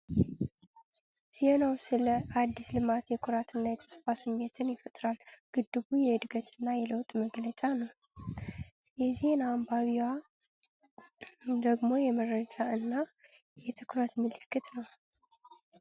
ዜናው ስለ አዲስ ልማት የኩራትና የተስፋ ስሜትን ይፈጥራል። ግድቡ የዕድገት እና የለውጥ መገለጫ ነው። የዜና አንባቢዋ ደግሞ የመረጃ እና የትኩረት ምልክት ነው።